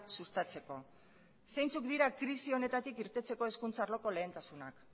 sustatzeko zeintzuk dira krisi honetatik irtetzeko hezkuntza arloko lehentasunak